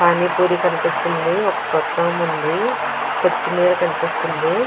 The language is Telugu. పానిపూరీ కనిపిస్తుంది ఒక ఉంది కొత్తిమీర కనిపిస్తుంది.